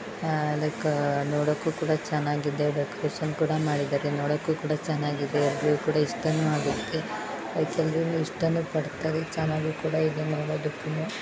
ಆಹ್ like ನೋಡಕ್ಕೂ ಕೂಡ ಚೆನ್ನಾಗಿದೆ ಡೆಕೋರೇಷನ್ ಕೂಡ ಮಾಡಿದ್ದಾರೆ ನೋಡೋಕೂ ಕೂಡ ಚೆನ್ನಾಗಿದೆ. ಎಲ್ರೂಗೂ ಕೂಡ ಇಷ್ಟನು ಆಗಿರುತ್ತೆ. ಲೈಕ್ ಎಲ್ರೂನು ಇಷ್ಟನೂ ಪಡುತ್ತಾರೆ ಚೆನ್ನಾಗೂ ಕೂಡ ಇದೆ ನೋಡೋದಕ್ಕೂನು.